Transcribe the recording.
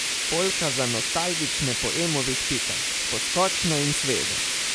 Polka za nostalgične po Emovih pikah: "Poskočno in sveže.